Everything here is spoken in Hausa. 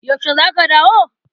Yaushe za ka dawo?